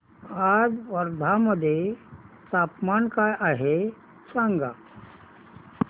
आज वर्धा मध्ये तापमान काय आहे सांगा